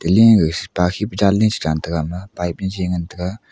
ley gag pa sikhi pu jan ley si chantega ama pipe jajiye ngantaga.